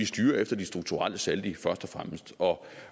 styrer efter de strukturelle saldi